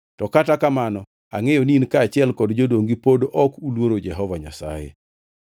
To kata kamano angʼeyo ni in kaachiel gi jodongi pod ok uluoro Jehova Nyasaye.”